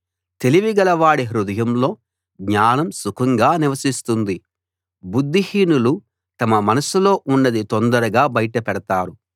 తెలివిగలవాడి హృదయంలో జ్ఞానం సుఖంగా నివసిస్తుంది బుద్ధిహీనులు తమ మనసులో ఉన్నది తొందరగా బయటపెతారు